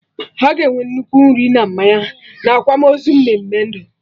Aga enwe nnukwu nri na mmanya na akwamozu mmeme ndụ